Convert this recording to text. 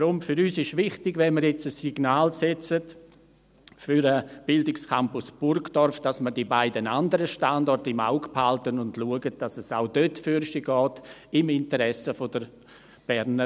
Deshalb ist für uns wichtig, dass wenn wir jetzt ein Signal für den Bildungscampus Burgdorf setzen, wir die beiden anderen Standorte im Auge behalten und schauen, dass es auch dort vorwärtsgeht – im Interesse der BFH.